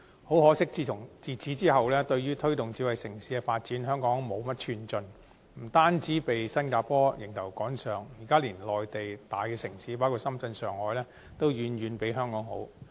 很可惜，自此之後，對於推動智慧城市的發展，香港無甚寸進，不單被新加坡迎頭趕上，現時連內地大城市包括深圳、上海等都遠遠拋離香港。